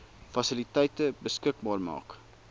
fasiliteite beskikbaar maak